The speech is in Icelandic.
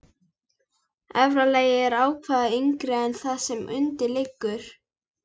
Efra lagið er ávallt yngra en það sem undir liggur.